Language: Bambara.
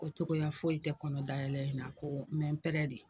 Ko cogoya foyi i tɛ kɔnɔ dayɛlɛ in na ko me n de